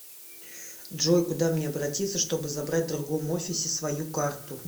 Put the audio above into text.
джой куда мне обратится чтобы забрать в другом офисе свою карту